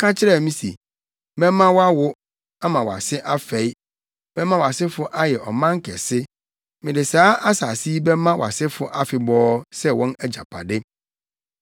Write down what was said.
ka kyerɛɛ me se, ‘Mɛma woawo, ama wʼase afɛe. Mɛma wʼasefo ayɛ ɔman kɛse. Mede saa asase yi bɛma wʼasefo afebɔɔ sɛ wɔn agyapade.’